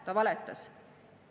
Ta valetas!